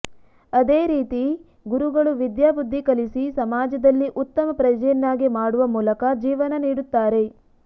ಆದೇ ರೀತಿ ಗುರುಗಳು ವಿದ್ಯಾಬುದ್ಧಿ ಕಲಿಸಿ ಸಮಾಜದಲ್ಲಿ ಉತ್ತಮ ಪ್ರಜೆಯನ್ನಾಗಿ ಮಾಡುವ ಮೂಲಕ ಜೀವನ ನೀಡುತ್ತಾರೆ